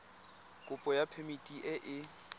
kopo ya phemiti e e